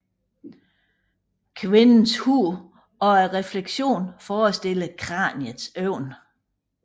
Kvindens hoved og refleksionen forestiller kraniets øjne